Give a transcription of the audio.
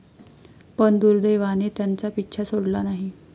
पण दुर्दैवाने त्यांचा पिच्छा सोडला नाही.